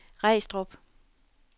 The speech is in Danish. Regstrup